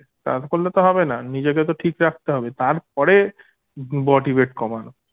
করলে তো হবেনা নিজেকে তো ঠিক রাখতে হবে তারপরে body weight কমানো